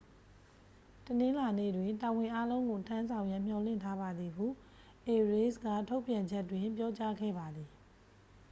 တနင်္လာနေ့တွင် တာဝန်အားလုံးကို ထမ်းဆောင်ရန်မျှော်လင့်ထားပါသည် ဟု အေရေးစ် က ထုတ်ပြန်ချက်တွင် ပြောကြားခဲ့ပါသည်